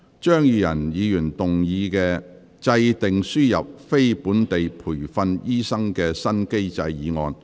張宇人議員動議的"制訂輸入非本地培訓醫生的新機制"議案。